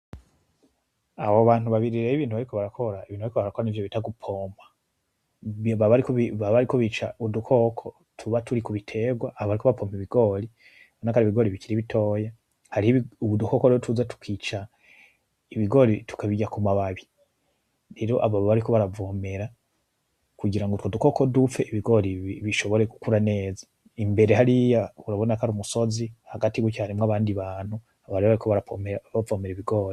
Abo bantu babiri rero ibintu bariko barakora, ibintu bariko barakora nivyo bita gupompa baba bariko bica udukoko tuba turi kubiterwa aho bariko papompa Ibigori urabonako ari ibigori bikiri bitiya hariho udukoko rero tuza tukica ibigori tukabirya ku mababi rero aba baba bariko baravomera kugira utwo dukoko dupfe ibigori bishobore gukura neza imbere hariya urabona ko ari umusozi hagati guca harimwo abandi bantu aba rero baba bariko baravomera Ibigori.